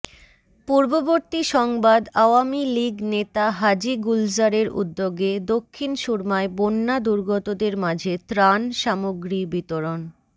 পূর্ববর্তী সংবাদআওয়ামী লীগ নেতা হাজী গুলজারের উদ্যোগে দক্ষিণ সুরমায় বন্যা দুর্গতদের মাঝে ত্রাণ সামগ্রী বিতরণ